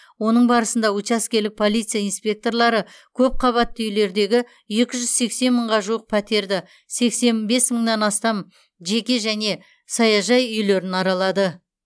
оның барысында учаскелік полиция инспекторлары көпқабатты үйлердегі екі жүз сексен мыңға жуық пәтерді сексен бес мыңнан астам жеке және саяжай үйлерін аралады